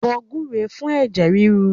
Bọ gbúre fún ẹ̀jẹ̀ ríru